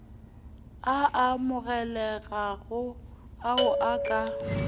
a amogelegago ao o ka